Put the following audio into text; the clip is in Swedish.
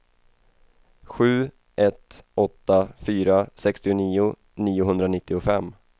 sju ett åtta fyra sextionio niohundranittiofem